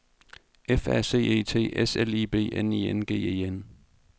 F A C E T S L I B N I N G E N